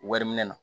Wari minɛ na